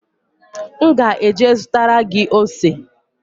M ga-eje zụtara gị ose